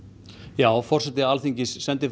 já forseti Alþingis sendi